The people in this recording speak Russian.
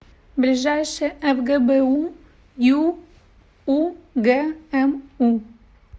ближайший фгбу юугму